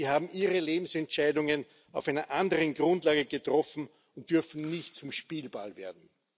Sie haben ihre Lebensentscheidungen auf einer anderen Grundlage getroffen und dürfen nicht zum Spielball werden.